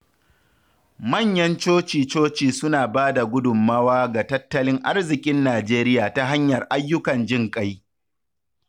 Manyan coci-coci suna ba da gudunmawa ga tattalin arzikin Najeriya ta hanyar ayyukan jinƙai.